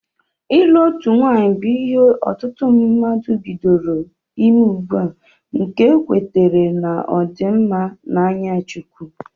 Ịlụ otu nwaanyị bụ ihe ọtụtụ mmadụ bidoro ime ugbua nke ekwetere na ọ dị mma na anya chukwu